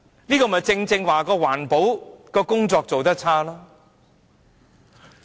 這正是環保工作做得差。